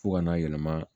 Fo ka n'a yɛlɛma